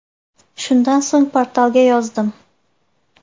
Shundan so‘ng portalga yozdim.